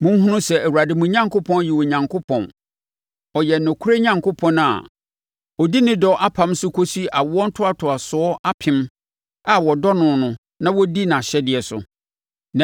Monhunu sɛ Awurade mo Onyankopɔn yɛ Onyankopɔn; ɔyɛ nokorɛ Onyankopɔn a ɔdi ne dɔ apam so kɔsi awoɔ ntoatoasoɔ apem a wɔdɔ no na wɔdi nʼahyɛdeɛ so.